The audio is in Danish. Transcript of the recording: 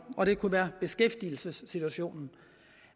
og det kunne være beskæftigelsessituationen